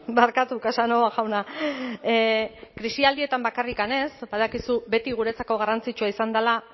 barkatu casanova jauna krisialdietan bakarrik ez badakizu beti guretzako garrantzitsua izan dela